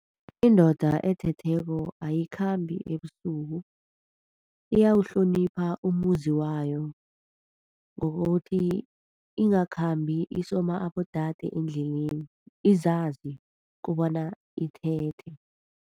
Indoda ethetheko ayikhambi ebusuku, iyawuhlonipha umuzi wayo ngokuthi ingakhambi isoma abodade endleleni, izazi kobana ithethe.